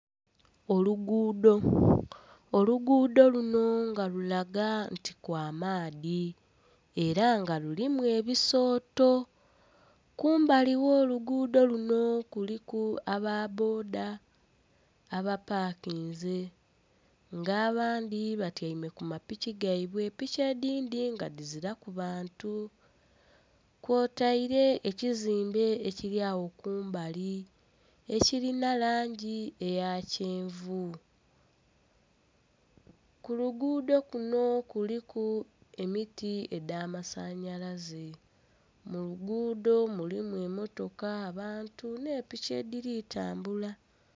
Oluguudo, oluguudo luno nga lulaga nti kw'amaadhi era nga luno lulimu ebisooto, kumbali ogh'oluguudo luno kuliku aba bboda aba pakinze nga abandhi batyaime ku mapiki gaibwe, piki edhindhi nga dhiziraku bantu kwotaire ekizimbe ekiryagho kumbali ekirina langi eya kyenvu kuluguudo kuno kuliku emiti edhamasanyalaze muluguudo mulimu emotoka, abantu n'epiki edhiri tambula.